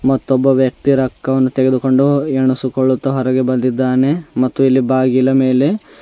ಮತ್ತೊಬ್ಬ ವ್ಯಕ್ತಿ ರಕ್ಕವನ್ನು ತೆಗೆದುಕೊಂಡು ಎಣಿಸಿಕೊಳ್ಳುತ್ತಾ ಹೊರಗೆ ಬಂದಿದ್ದಾನೆ ಮತ್ತು ಇಲ್ಲಿ ಬಾಗಿಲ ಮೇಲೆ--